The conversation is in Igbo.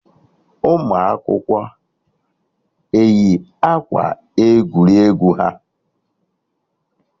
Ụmụ akwụkwọ eyi akwa egwuregwu ha?